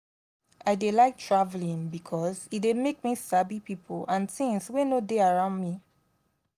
i dey like travelling because e dey make me sabi pipo and tins wey no dey around me